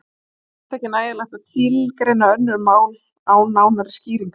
Því telst ekki nægjanlegt að tilgreina önnur mál án nánari skýringa.